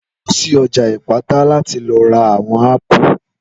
Lọ sí ọjà Ìpátá láti lọ ra àwon ápù